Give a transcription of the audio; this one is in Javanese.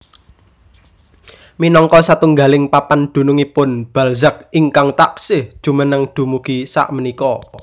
Minangka satunggaling papan dununngipun Balzac ingkang taksih jumeneng dumugi sakmenika